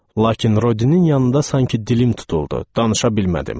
Lakin Rodinin yanında sanki dilim tutuldu, danışa bilmədim.